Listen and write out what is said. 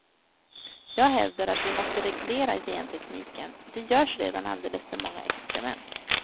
Jag hävdar att vi måste reglera gentekniken, det görs redan alldeles för många experiment.